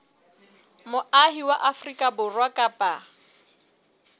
moahi wa afrika borwa kapa